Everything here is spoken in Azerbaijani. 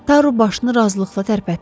Taru başını razılıqla tərpətdi.